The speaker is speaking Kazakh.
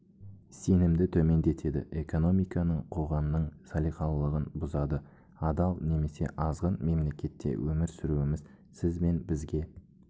сенімді төмендетеді экономиканың қоғамның салиқалылығын бұзады адал немесе азғын мемлекетте өмір сүруіміз сіз бен бізге